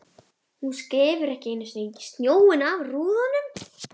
Hún skefur ekki einu sinni snjóinn af rúðunum!